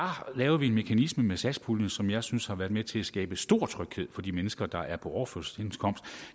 lavede vi en mekanisme med satspuljen som jeg synes har været med til at skabe stor tryghed for de mennesker der er på overførselsindkomst